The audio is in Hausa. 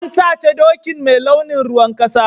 An sace dokin mai launin ruwan kasa.